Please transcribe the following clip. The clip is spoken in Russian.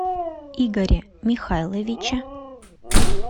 игоре михайловиче